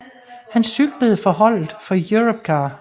Han cyklede for holdet for Europcar